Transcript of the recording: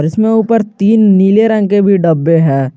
जिसमें ऊपर तीन नीले रंग के भी डब्बे है।